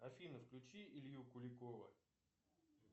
афина включи илью куликова